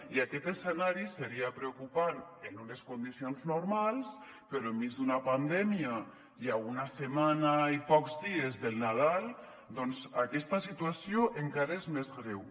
i aquest escenari seria preocupant en unes condicions normals però enmig d’una pandèmia i a una setmana i pocs dies del nadal doncs aquesta situació encara és més greu